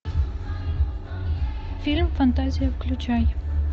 фильм фантазия включай